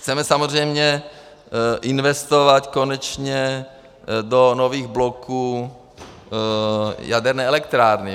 Chceme samozřejmě investovat konečně do nových bloků jaderné elektrárny.